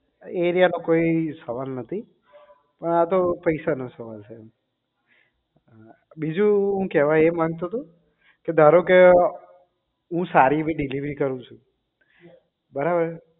area માં કોઈ સવાલ નથી પણ આ તો પૈસા નો સવાલ છે બીજું હું કેવા એ માંગતો હતો કે ધારો કે હું સારી એવી delivery કરું છું બરાબર